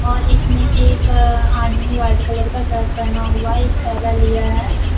और इसमें एक आदमी व्हाइट कलर का शर्ट पहना हुआ है एक थैला लिया है।